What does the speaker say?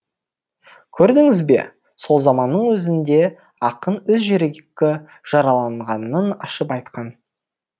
көрдіңіз бе сол заманның өзінде ақын өз жүрегі жараланғанын ашып айтқан